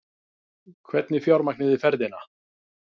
Hvernig fjármagnið þið ferðina?